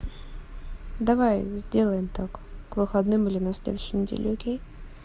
давай сделаем так к выходным или на следующей неделе окей